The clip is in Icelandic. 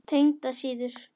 Tengdar síður